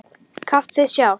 Kaffið sjálft.